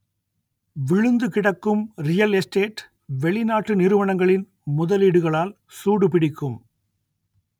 விழுந்து கிடக்கும் real estate வெளிநாட்டு நிறுவனங்களின் முதலீடுகளால் சூடு பிடிக்கும்